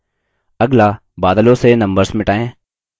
अगला बादलों से numbers मिटायें